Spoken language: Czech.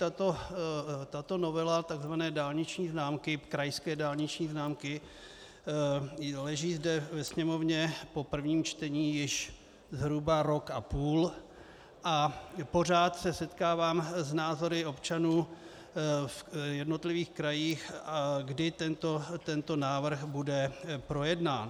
Tato novela tzv. krajské dálniční známky leží zde ve Sněmovně po prvním čtení již zhruba rok a půl a pořád se setkávám s názory občanů v jednotlivých krajích, kdy tento návrh bude projednán.